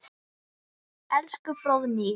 Elsku Fróðný.